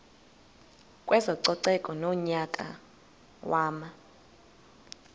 kwezococeko ngonyaka wama